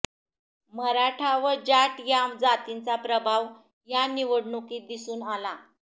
मराठा व जाट या जातींचा प्रभाव या निवडणुकीत दिसून आला